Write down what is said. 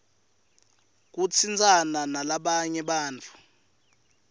kutsintsana nalabanye bantfu